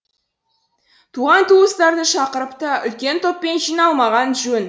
туған туыстарды шақырып та үлкен топпен жиналмаған жөн